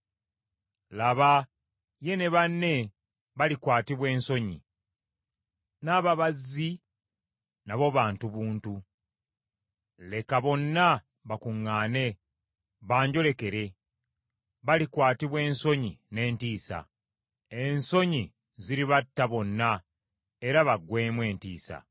Laba ye ne banne balikwatibwa ensonyi. N’ababazzi nabo bantu buntu. Leka bonna bakuŋŋaane, banjolekere; balikwatibwa ensonyi n’entiisa. Ensonyi ziribatta bonna era bagwemu entiisa.